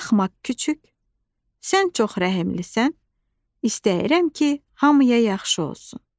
Axmaq küçüy, sən çox rəhimlisən, istəyirəm ki, hamıya yaxşı olsun.